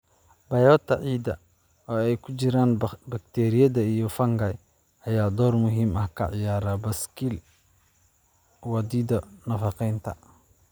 Biota ciidda, oo ay ku jiraan bakteeriyada iyo fungi, ayaa door muhiim ah ka ciyaara baaskiil wadida nafaqeynta.